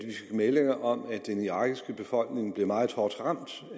meldinger om at den irakiske befolkning blev meget hårdt ramt